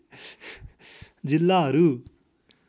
जिल्लाहरू